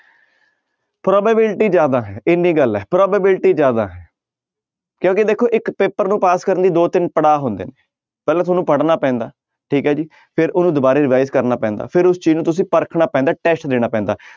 Probability ਜ਼ਿਆਦਾ ਹੈ ਇੰਨੀ ਗੱਲ ਹੈ probability ਜ਼ਿਆਦਾ ਹੈ ਕਿਉਂਕਿ ਦੇਖੋ ਇੱਕ ਪੇਪਰ ਨੂੰ ਪਾਸ ਕਰਨ ਲਈ ਦੋ ਤਿੰਨ ਪੜ੍ਹਾਅ ਹੁੰਦੇ ਨੇ ਪਹਿਲਾਂ ਤੁਹਾਨੂੰ ਪੜ੍ਹਨਾ ਪੈਂਦਾ ਠੀਕ ਹੈ ਜੀ ਫਿਰ ਉਹਨੂੰ ਦੁਬਾਰੇ revise ਕਰਨਾ ਪੈਂਦਾ, ਫਿਰ ਉਸ ਚੀਜ਼ ਨੂੰ ਤੁਸੀਂ ਪਰਖਣਾ ਪੈਂਦਾ test ਦੇਣਾ ਪੈਂਦਾ,